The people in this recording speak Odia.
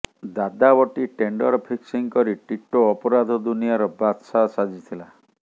ଦାଦାବଟି ଟେଣ୍ଡର ଫିକ୍ସିଂ କରି ଟିଟୋ ଅପରାଧ ଦୁନିଆର ବାଦ୍ଶାହ ସାଜିଥିଲା